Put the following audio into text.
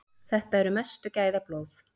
Þetta eru mestu gæðablóð.